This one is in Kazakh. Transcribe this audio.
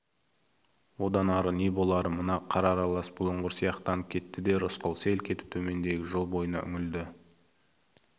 одан ары не болары мына қар аралас бұлыңғыр сияқтанып кетті де рысқұл селк етіп төмендегі жол бойына үңілді